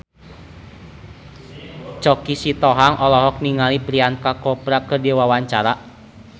Choky Sitohang olohok ningali Priyanka Chopra keur diwawancara